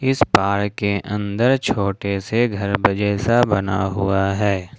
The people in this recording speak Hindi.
इस पार्क के अंदर छोटे से घर जैसा बना हुआ है।